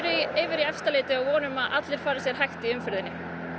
yfir í Efstaleiti og vonum að allir fari sér hægt í umferðinni